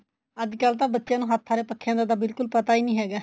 ਅੱਜਕਲ ਤਾਂ ਬੱਚਿਆ ਨੂੰ ਹੱਥ ਆਲੇ ਪੱਖਿਆ ਦਾ ਤਾਂ ਬਿਲਕੁਲ ਪਤਾ ਹੀ ਨਹੀਂ ਹੈਗਾ